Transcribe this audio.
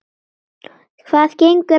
Hvað gengur að þér?